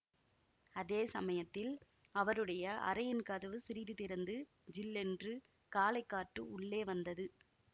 அதே சமயத்தில் அவருடைய அறையின் கதவு சிறிது திறந்து ஜில்லென்று காலை காற்று உள்ளே வந்தது